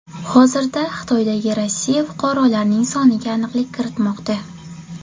Hozirda Xitoydagi Rossiya fuqarolarning soniga aniqlik kiritilmoqda.